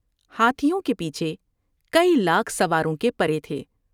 ہاتھیوں کے پیچھے کئی لاکھ سواروں کے پرے تھے ۔